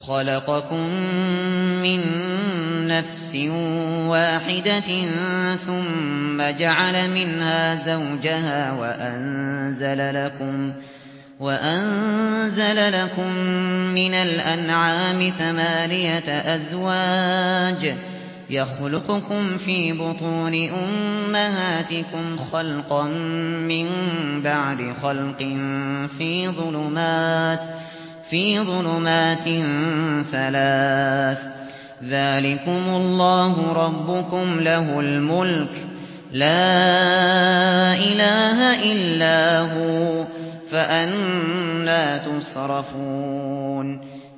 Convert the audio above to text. خَلَقَكُم مِّن نَّفْسٍ وَاحِدَةٍ ثُمَّ جَعَلَ مِنْهَا زَوْجَهَا وَأَنزَلَ لَكُم مِّنَ الْأَنْعَامِ ثَمَانِيَةَ أَزْوَاجٍ ۚ يَخْلُقُكُمْ فِي بُطُونِ أُمَّهَاتِكُمْ خَلْقًا مِّن بَعْدِ خَلْقٍ فِي ظُلُمَاتٍ ثَلَاثٍ ۚ ذَٰلِكُمُ اللَّهُ رَبُّكُمْ لَهُ الْمُلْكُ ۖ لَا إِلَٰهَ إِلَّا هُوَ ۖ فَأَنَّىٰ تُصْرَفُونَ